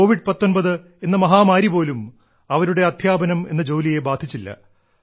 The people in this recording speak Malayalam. കോവിഡ് 19 എന്ന മഹാമാരി പോലും അവരുടെ അദ്ധ്യാപനം എന്ന ജോലിയെ ബാധിച്ചില്ല